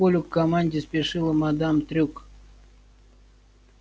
к полю к команде спешила мадам трюк